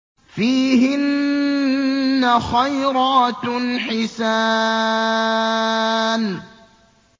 فِيهِنَّ خَيْرَاتٌ حِسَانٌ